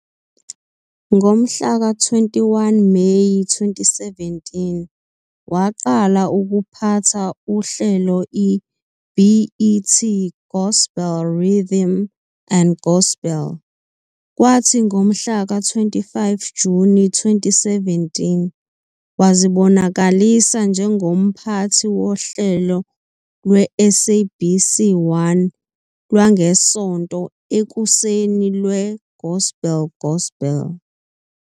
Ngomhlaka 21 Meyi 2017 waqala ukuphatha uhlelo iBET gospel Rhythm and Gospel kwathi ngomhlaka 25 Juni 2017 wazibonakalisa njengomphathi wohlelo lweSABC1 lwangeSonto ekuseni lweGospel Gospel.